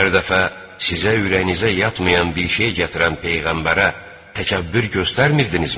Hər dəfə sizə ürəyinizə yatmayan bir şey gətirən peyğəmbərə təkəbbür göstərmirdinizmi?